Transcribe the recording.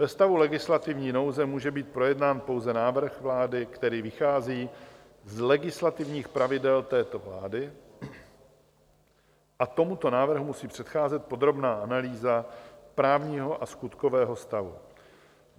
Ve stavu legislativní nouze může být projednán pouze návrh vlády, který vychází z legislativních pravidel této vlády, a tomuto návrhu musí předcházet podrobná analýza právního a skutkového stavu.